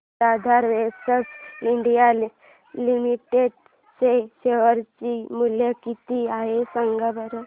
आज Aadhaar ventures India limited चे share चे मूल्य किती आहे सांगा बरं